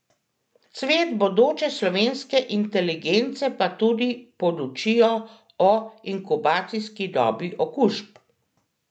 Cvet bodoče slovenske inteligence pa tudi podučijo o inkubacijski dobi okužb.